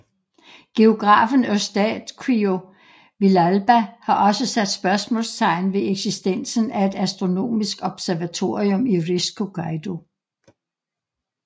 Geografen Eustaquio Villalba har også sat spørgsmålstegn ved eksistensen af et astronomisk observatorium i Risco Caído